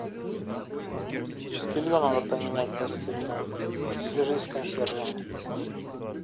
белье надо поменять постельное свяжись с консьержами